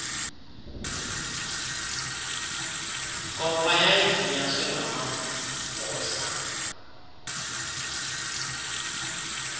nkomfa yayizinyaswe ngamamagosa